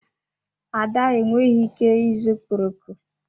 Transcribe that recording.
Ada enweghị ike ịzụ okporoko.